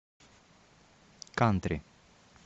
кантри